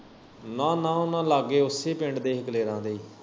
ਨਾ ਨਾ ਉਨਾਂ ਲਾਗੇ ਉਸੇ ਪਿੰਡ ਦੇ ਹੀ ਕਲੇਰਾ ਦੇ।